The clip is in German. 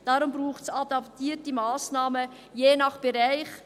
Deshalb braucht es adaptierte Massnahmen, je nach Bereich.